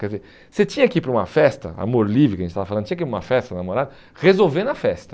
Quer dizer, você tinha que ir para uma festa, amor livre que a gente estava falando, tinha que ir para uma festa, namorado, resolver na festa.